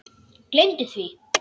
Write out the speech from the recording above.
Gleymdu því!